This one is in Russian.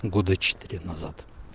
года четыре назад